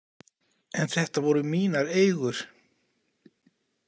En þetta voru mínar eigur.